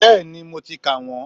Bẹ́ẹ̀ni, mo ti kà wọ́n